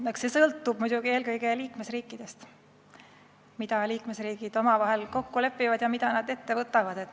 Eks see sõltub muidugi eelkõige liikmesriikidest, sellest, mida nad omavahel kokku lepivad ja mida ette võtavad.